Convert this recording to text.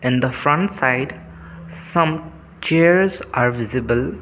in the front side some chairs are visible.